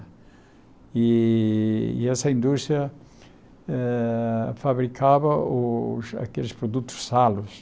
E e essa indústria eh fabricava os aqueles produtos salos.